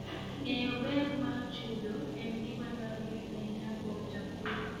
Ng'eyo ber mar chudo en gima dwarore ahinya kuom jopur.